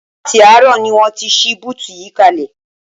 Láti àárọ̀ ni wọ́n ti ṣí búùtù yìí kalẹ̀